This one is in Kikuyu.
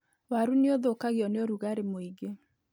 Waru nĩ ũthũkagio nĩ ũrugarĩ mũingĩ.